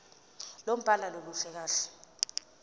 lombhalo aluluhle kahle